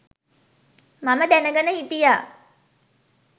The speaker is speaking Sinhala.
මම දැනගෙන හිටියා.